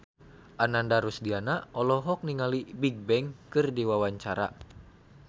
Ananda Rusdiana olohok ningali Bigbang keur diwawancara